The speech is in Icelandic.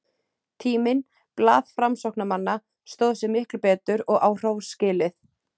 Tíminn, blað framsóknarmanna, stóð sig miklu betur, og á hrós skilið.